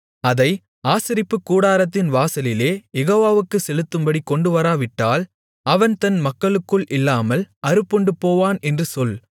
அதை ஆசரிப்புக்கூடாரத்தின் வாசலிலே யெகோவாவுக்குச் செலுத்தும்படி கொண்டுவராவிட்டால் அவன் தன் மக்களுக்குள் இல்லாமல் அறுப்புண்டுபோவான் என்று சொல்